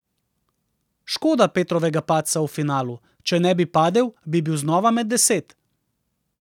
Škoda Petrovega padca v finalu, če ne bi padel, bi bil znova med deset.